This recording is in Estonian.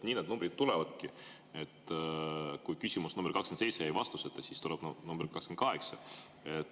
Nii need numbrid tulevadki: kui küsimus nr 27 jäi vastuseta, siis tuleb nr 28.